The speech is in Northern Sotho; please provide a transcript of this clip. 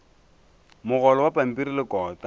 mogolo wa pampiri le kota